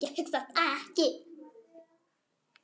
Ég hugsa ekki.